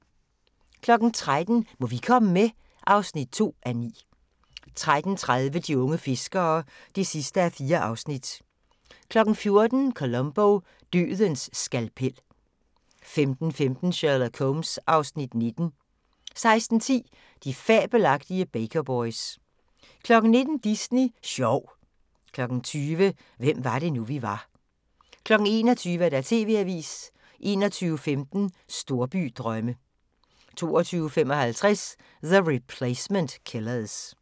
13:00: Må vi komme med? (2:9) 13:30: De unge fiskere (4:4) 14:00: Columbo: Dødens skalpel 15:15: Sherlock Holmes (Afs. 19) 16:10: De fabelagtige Baker Boys 19:00: Disney Sjov 20:00: Hvem var det nu, vi var 21:00: TV-avisen 21:15: Storbydrømme 22:55: The Replacement Killers